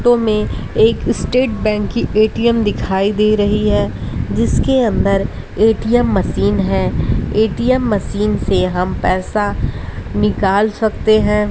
Photo में एक state bank की ए_टी_एम दिखाई दे रही है जिसके अंदर ए_टी_एम _मशीन है। ए_टी_एम_ मशीन से हम पैसा निकाल सकते हैं।